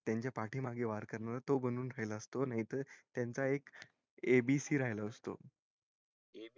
त्याच्या पाठी मागून वार करणारा तो बनून राहिलो असतो नाही त त्याचा एक abc राहिलो असतो